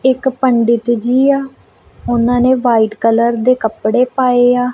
ਇੱਕ ਪੰਡਿਤ ਜੀ ਆ ਉਹਨਾਂ ਨੇ ਵਾਈਟ ਕਲਰ ਦੇ ਕੱਪੜੇ ਪਾਏ ਆ।